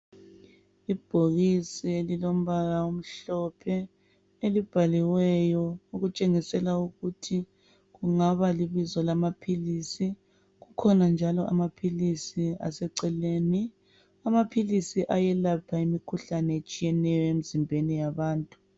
Ibhokisi elilombala omhlophe elibhaliweyo okutshengisela ukuthi kungaba libizo lamaphilisi. Kukhona njalo amaphilisi aseceleni. Amaphilisi ayelapha imikhuhlane etshiyeneyo emzimbeni yabantu.